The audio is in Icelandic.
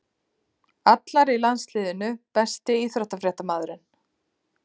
Allar í landsliðinu Besti íþróttafréttamaðurinn?